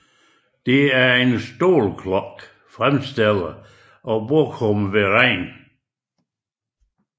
Det er en stålklokke fremstillet af Bochumer Verein